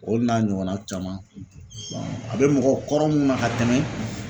Olu n'a ɲɔgɔnna caman a bɛ mɔgɔkɔrɔ minnu na ka tɛmɛ.